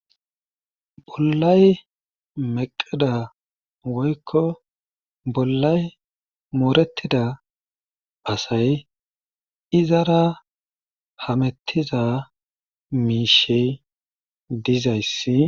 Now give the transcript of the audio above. Bollay meqqida woykko bollay moorettida asay izara hamettiza miishey dizayssi.